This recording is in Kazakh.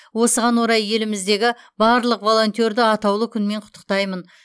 осыған орай еліміздегі барлық волонтерді атаулы күнмен құттықтаймын